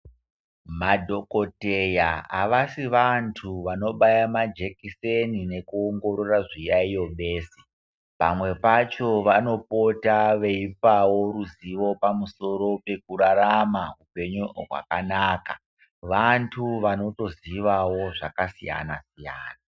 Madhokodheya havasi vantu vanobaya majekiseni nekuongorora zviyaiyo bedzi. Pamwe pacho vanopota veipawo vantu ruzivo pamusoro pekurarama hwakanaka. Vantu vanotozivawo zvakasiyana siyana.